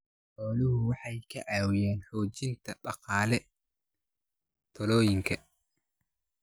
Xooluhu waxay ka caawiyaan xoojinta dhaqaalaha tuulooyinka.